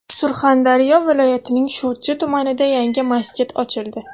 Surxondaryo viloyatining Sho‘rchi tumanida yangi masjid ochildi.